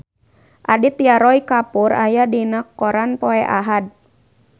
Aditya Roy Kapoor aya dina koran poe Ahad